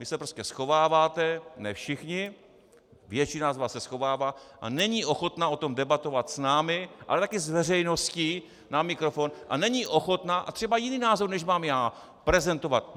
Vy se prostě schováváte, ne všichni, většina z vás se schovává a není ochotna o tom debatovat s námi, ale také s veřejností na mikrofon a není ochotna, a třeba jiný názor, než mám já, prezentovat.